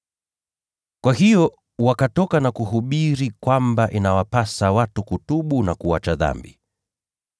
Kwa hiyo wakatoka na kuhubiri kwamba inawapasa watu kutubu na kuacha dhambi.